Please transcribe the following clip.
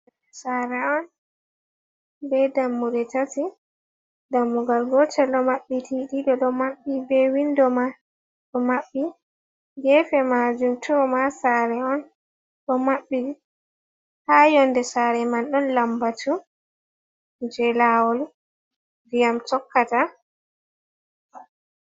Sare on be dammuɗe tati dammugal gotel ɗo mabbiti ɗiɗo ɗo maɓɓi be windo ma ɗo maɓɓi gefe majum to ma sare on ɗo maɓɓi ha yonde sare man ɗon lambatu je lawol diyam tokkata.